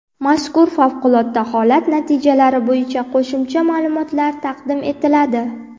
mazkur favqulodda holat natijalari bo‘yicha qo‘shimcha ma’lumotlar taqdim etiladi.